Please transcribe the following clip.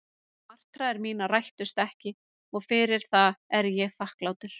En martraðir mínar rættust ekki og fyrir það er ég þakklátur.